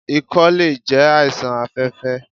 Ikọ́ lè jẹ́ àìsàn afẹ́fẹ́.